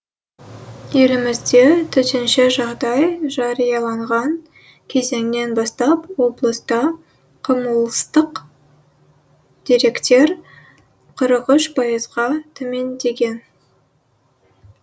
елімізде төтенше жағдай жарияланған кезеңнен бастап облыста қылмыстық деректер қырық үш пайызға төмендеген